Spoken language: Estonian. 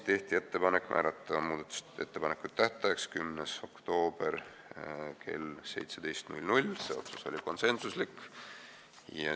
Tehti ettepanek määrata muudatusettepanekute esitamise tähtajaks 10. oktoober kell 17, see otsus oli konsensuslik.